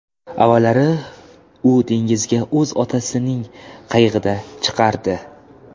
Avvallari u dengizga o‘z otasining qayig‘ida chiqardi.